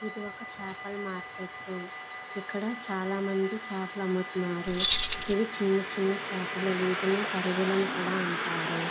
ఇది ఒక చేపల మార్కెట్ . ఇక్కడ చాలా మంది చేపలు అమ్ముతున్నారు. ఇవి చిన్న చిన్న చేపలు. వీటినే పడుగులు అని కూడ అంటారు.